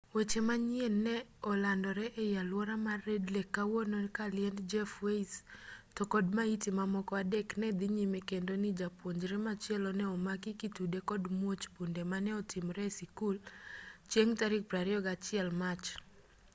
weche manyien ne olandore ei alwora mar red lake kawuono ka liend jeff weise to kod maiti mamoko adek ne dhi nyime kendo ni japuonjre machielo ne omaki kitude kod muoch bunde mane otimore e sikul chieng' tarik 21 mach